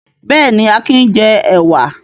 Bẹ́ẹ̀ni, Akin jẹ ẹ̀wà.